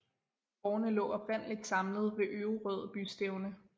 Gårdene lå oprindeligt samlet omkring Øverød bystævne